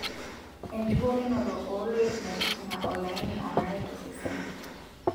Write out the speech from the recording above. Enchukokinoto ooloikmetijinga olaini onare tosesen.